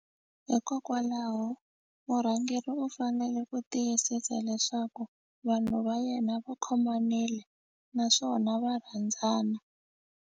Hikokwalaho murhangeri u fanele ku tiyisisa leswaku vanhu va yena va khomanile naswona va rhandzana.